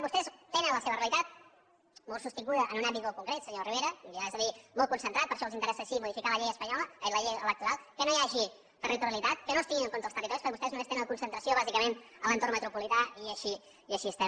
vostès tenen la seva realitat molt sostinguda en un àmbit molt concret senyor rivera li he de dir molt concentrat per això els interessa sí modificar la llei electoral que no hi hagi territorialitat que no es tinguin en compte els territoris perquè vostès només tenen la concentració bàsicament a l’entorn metropolità i així estem